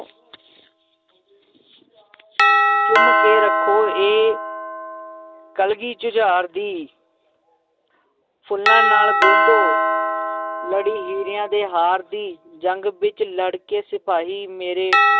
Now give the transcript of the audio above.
ਚੁੰਮ ਕੇ ਰੱਖੋ ਇਹ ਕਲਗੀ ਜੁਝਾਰ ਦੀ ਫੁੱਲਾਂ ਨਾਲ ਗੁੰਦੋ ਲੜੀ ਹੀਰਿਆਂ ਦੇ ਹਾਰ ਦੀ ਜੰਗ ਵਿੱਚ ਲੜਕੇ ਸਿਪਾਹੀ ਮੇਰੇ